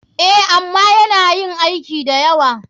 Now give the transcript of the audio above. A,ama yana yin aiki dayawa.